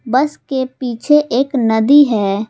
बस के पीछे एक नदी है।